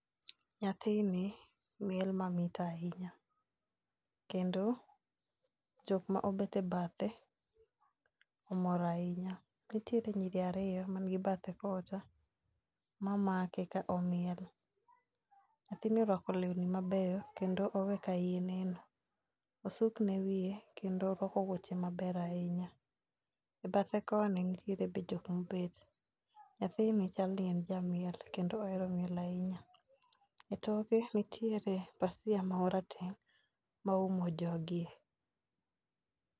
Nyathini miel mamit ahinya kendo jok ma obete bathe omor ahinya. Nitiere nyiri ariyo man gi bathe kocha ma make ka omiel. Nyathini orwako lewni mabeyo kendo owe ka iye neno, osukne wiye kendo orwako wuoche maber ahinya. E bathe koni nitiere be jok mobedo. Nyathini chal ni ne jamiel kendo ohero miel ahinya. E toke nitiere pasia marateng' moumo jogi.